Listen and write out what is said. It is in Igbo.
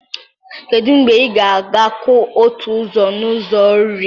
Kedu mgbe ị ga-akwụ otu ụzọ n'ụzọ iri?